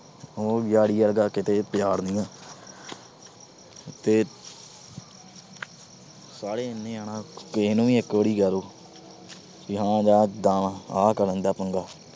ਉਹ ਯਾਰੀ ਵਰਗਾ ਕਿਤੇ ਪਿਆਰ ਨਹੀਂ। ਤੇ ਸਾਰੇ ਇੰਨੇ ਜਿਆਦਾ, ਕਿਸੇ ਨੂੰ ਵੀ ਇੱਕ ਵਾਰ ਕਹਿ ਦੋ, ਯਾਰਾਂ ਇਦਾ ਆ, ਆਹ ਕਰਨ ਦਾ ਪੰਗਾ।